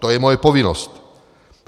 To je moje povinnost.